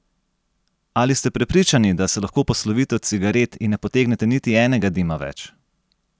Ali ste prepričani, da se lahko poslovite od cigaret in ne potegnete niti enega dima več?